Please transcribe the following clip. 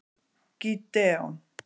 Gídeon